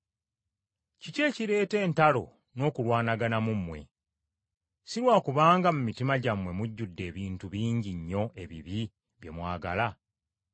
Kiki ekireeta entalo n’okulwanagana mu mmwe? Si lwa kubanga mu mitima gyammwe mujjudde ebintu bingi nnyo ebibi bye mwagala?